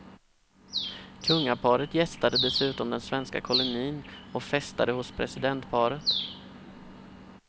Kungaparet gästade dessutom den svenska kolonin och festade hos presidentparet.